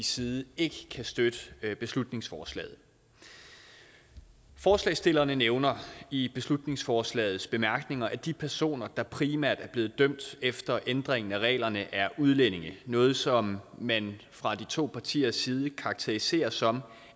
side ikke kan støtte beslutningsforslaget forslagsstillerne nævner i beslutningsforslagets bemærkninger at de personer der primært er blevet dømt efter ændringen af reglerne er udlændinge noget som man fra de to partiers side karakteriserer som